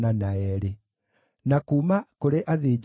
na ngamĩĩra 435, na ndigiri 6,720.